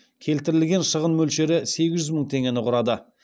келтірілген шығын мөлшері сегіз жүз мың теңгені құрады